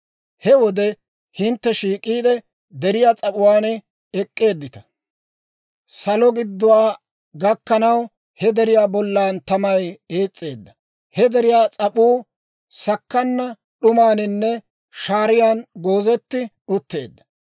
«He wode hintte shiik'iide deriyaa s'ap'uwaan ek'k'eeddita; saloo gidduwaa gakkanaw, he deriyaa bollan tamay ees's'ee; he deriyaa s'ap'uu sakkana d'umaaninne shaaran goozetti utteedda.